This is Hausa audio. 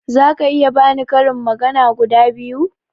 Zaka iya bani karin magana guda biyu?